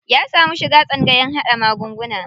Ya samu shiga tsangayan haɗa magunguna.